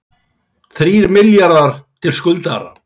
Þrír milljarðar til skuldara